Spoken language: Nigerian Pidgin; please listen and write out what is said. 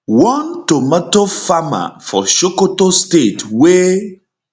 one tomato farmer for sokoto state wey